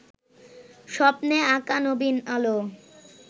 স্বপ্নে আঁকা নবীন আলো